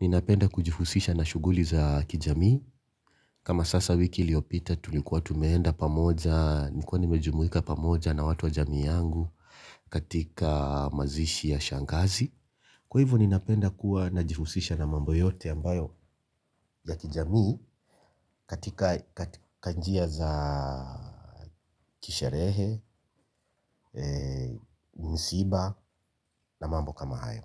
ninapenda kujihusisha na shughuli za kijamii kama sasa wiki iliopita tulikuwa tumeenda pamoja nilikuwa nimejumuika pamoja na watu wa jamii yangu katika mazishi ya shangazi. Kwa hivyo ninapenda kuwa najihusisha na mambo yote ambayo ya kijamii katika njia za kisherehe, msiba na mambo kama hayo.